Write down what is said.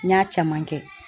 N y'a caman kɛ